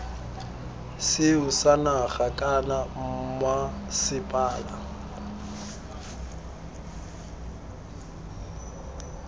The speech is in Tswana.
seo sa naga kana mmasepala